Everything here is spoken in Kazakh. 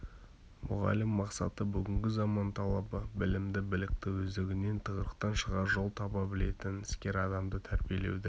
мұғалім мақсаты бүгінгі заман талабы білімді білікті өздігінен тығырықтан шығар жол таба білетін іскер адам тәрбиелеуді